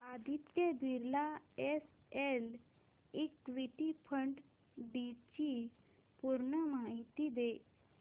Aditya Birla SL equity fund D ची पूर्ण माहिती दे